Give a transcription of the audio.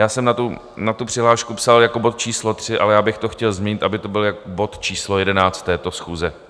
Já jsem na tu přihlášku psal jako bod číslo 3, ale já bych to chtěl změnit, aby to byl bod číslo 11 této schůze.